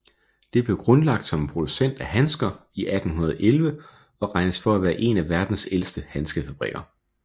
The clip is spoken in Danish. Den blev grundlagt som en producent af handsker i 1811 og regnes for at være en af verdens ældste handskefabrikker